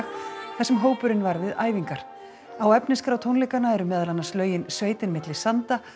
þar sem hópurinn var við æfingar á efnisskrá tónleikanna eru meðal annars lögin sveitin milli sanda